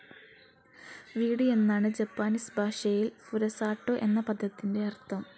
വീട് എന്നാണ് ജാപ്പനീസ് ഭാഷയിൽ ഫുരസാട്ടോ എന്ന പദത്തിൻ്റെ അർത്ഥം.